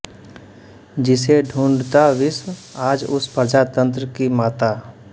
जिसे ढूंढता विश्व आज उस प्रजातंत्र की माता